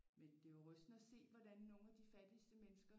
Men det var rystende at se hvordan nogle af de fattigste mennesker